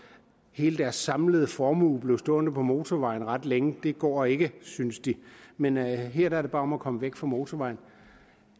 hele deres samlede formue blive stående på motorvejen ret længe det går ikke synes de men her er det bare om at komme væk fra motorvejen